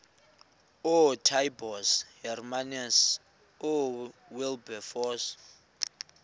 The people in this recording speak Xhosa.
ootaaibos hermanus oowilberforce